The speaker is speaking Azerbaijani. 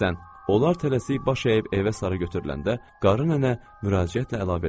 Onlar tələsik baş əyib evə sarı götürüləndə qarı nənə müraciətlə əlavə elədi.